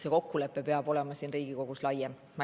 See kokkulepe peab olema siin Riigikogus laiem.